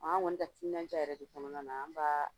An kɔni bɛ timinadiya yɛrɛ de kɔnɔna na an b'a